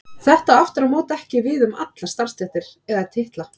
Þetta á aftur á móti ekki við um allar starfstéttir eða titla.